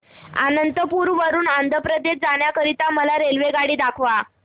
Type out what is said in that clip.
अनंतपुर वरून आंध्र प्रदेश जाण्या करीता मला रेल्वेगाडी दाखवा